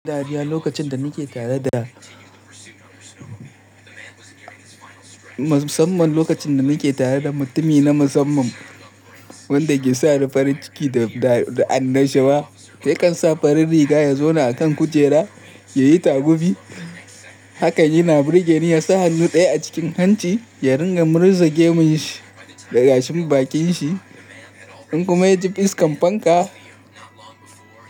Ɗariya, lokacin da musamman lokacin da nake tare da mutumi na musamman wanda ke sa ni farin ciki da, da annashuwa, zai kan sa farin riga ya zauna akan kujera, ya yi tagubi. Hakan yana burge ni, ya sa hannu ɗaya a cikin hanci ya ringa murza gemun shi da gashin bakin shi in kuma ya ji fuskar fanka.